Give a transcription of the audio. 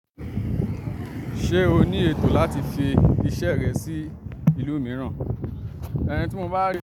Ṣé o ní ètò láti fi iṣẹ́ rẹ sí ìlú mìíràn? Ehn tí mo bá ri.